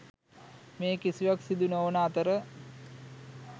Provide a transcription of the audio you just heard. මේ කිසිවක් සිදු නොවන අතර